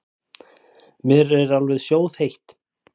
Mér er alveg sjóðheitt.